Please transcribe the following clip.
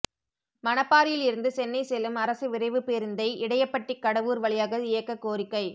மணப்பாறையில் இருந்து சென்னை செல்லும் அரசு விரைவு பேருந்தை இடையபட்டி கடவூர் வழியாக இயக்க கோரிக்கை